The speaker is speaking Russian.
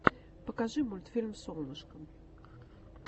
покажи мультфильм солнышкам